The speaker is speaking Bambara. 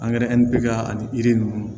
ani yiri ninnu